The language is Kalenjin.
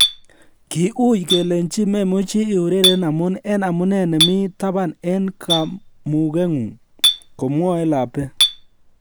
"Ki ui kelenjin memuchi iureren amun en amune nemi taban en kamugeng'ung." Komwae Labbe